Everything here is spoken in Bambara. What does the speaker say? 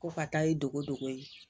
Ko ka taa ye dogo dogo ye